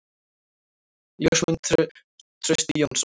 Ljósmynd: Trausti Jónsson.